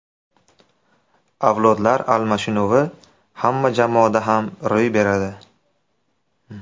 Avlodlar almashinuvi hamma jamoada ham ro‘y beradi.